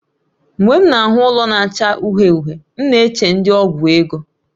Mgbe m na-ahụ ụlọ na-acha uhie uhie, m na-eche ndi ọgwụ ego